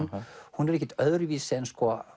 hún er ekkert öðruvísi en